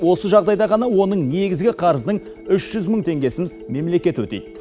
осы жағдайда ғана оның негізгі қарызының үш жүз мың теңгесін мемлекет өтейді